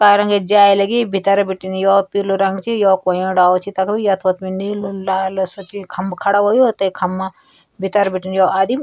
पार रंगक जाली लगी भितर बटीन यो पीलू रंग च यो कोयूं डालू च तख यत्वत नीलू लाल सफेद खंबा खडू हुयूं ते खंबा भितर बटीन यो आदिम --